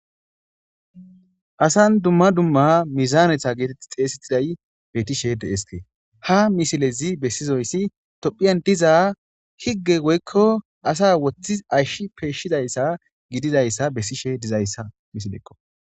Asan dumma dumma mizaanetha geetetti xeesexiday bettishe deeske ha misilezi bessizoyssi tophiyan diza higge goykko asa woththi ashsh peeshshizayssa gidizayssa bessishe dizayssa misilekko